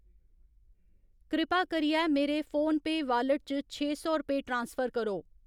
कृपा करियै मेरे फोनपेऽ वालेट च छे सौ रपेऽ ट्रांसफर करो।